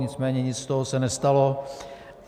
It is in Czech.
Nicméně nic z toho se nestalo.